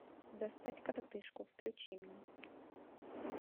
достать коротышку включи мне